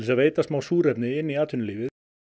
að veita smá súrefni inn í atvinnulífið